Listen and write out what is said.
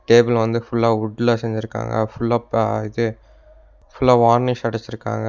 Table வந்து ஃபுல்லா உட்ல செஞ்சிருக்காங்க ஃபுல்லா ப இது ஃபுல்லா வார்னிஷ் அடிச்சிருக்காங்க.